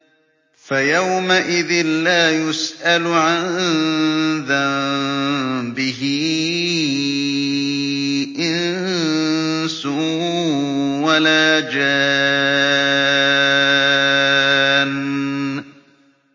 فَيَوْمَئِذٍ لَّا يُسْأَلُ عَن ذَنبِهِ إِنسٌ وَلَا جَانٌّ